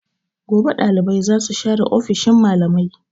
Gobe dalibai za su share ofishin malamai.